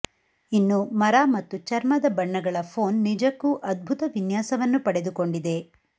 ಇನ್ನು ಮರ ಮತ್ತು ಚರ್ಮದ ಬಣ್ಣಗಳ ಫೋನ್ ನಿಜಕ್ಕೂ ಅದ್ಭುತ ವಿನ್ಯಾಸವನ್ನು ಪಡೆದುಕೊಂಡಿದೆ